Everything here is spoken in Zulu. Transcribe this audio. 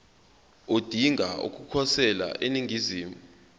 odinga ukukhosela eningizimu